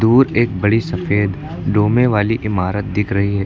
दूर एक बड़ी सफेद डोमे वाली इमारत दिख रही है।